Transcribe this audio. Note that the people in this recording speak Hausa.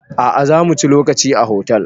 A'a zamu ciyi lokaci a hotel